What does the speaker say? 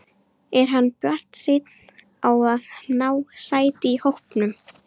Er hann bjartsýnn á að ná sæti í hópnum?